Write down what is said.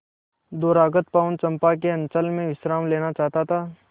दूरागत पवन चंपा के अंचल में विश्राम लेना चाहता था